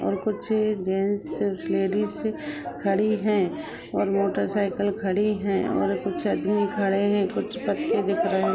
और कुछ gents ladies खड़ी हैं और मोटर साईकिल खड़ी हैं और कुछ आदमी खड़े हैं। कुछ पत्ती दिख रही --